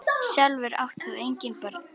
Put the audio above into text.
Sjálfur átt þú engin börn.